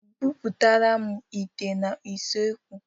Bubatara m ìtè n'usekwu!